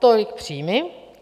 Tolik příjmy.